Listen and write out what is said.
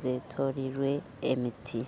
zetoriirwe emiti